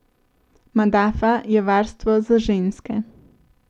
Madafa je varstvo za ženske.